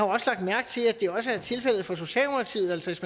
også lagt mærke til at det også er tilfældet for socialdemokratiet altså hvis